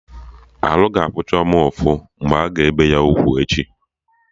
Arụ ga-afụ Chioma ụfụ mgbe a ga-ebe ya ugwu echi